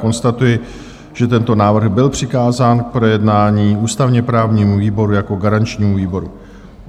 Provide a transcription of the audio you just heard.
Konstatuji, že tento návrh byl přikázán k projednání ústavně-právnímu výboru jako garančnímu výboru.